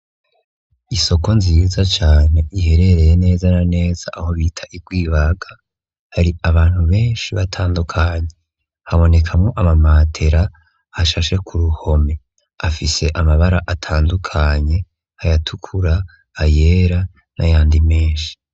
Isoko nziza cane iherereye neza na neza aho bita i gwibaga ,har’abantu benshi batandukanye habonekamwo ama matera ashashe kuruhome afise amabara atandukanye ayatukura, ayera, nayandi menshi.